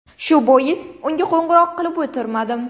Shu bois unga qo‘ng‘iroq qilib o‘tirmadim.